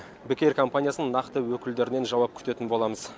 бек эйр компаниясының нақты өкілдерінен жауап күтетін боламыз